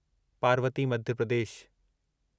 Parvati Madhya Pradesh